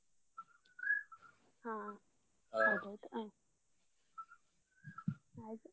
ಹಾ ಹಾಗೆ ಅಯ್ತು.